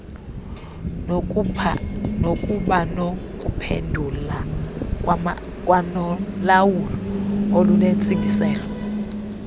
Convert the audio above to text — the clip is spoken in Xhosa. nokubanokuphendula kwanolawulo olunentsingiselo